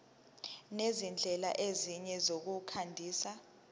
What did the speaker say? nezindlela ezinye zokwandisa